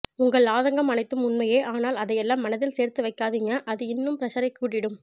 உங்கள் ஆதங்கம் அனைத்தும் உண்மையே ஆனால் அதையெல்லாம் மனதில் சேர்த்து வச்சிக்காதிங்க அது இன்னும் பிரஷரை கூட்டிடும்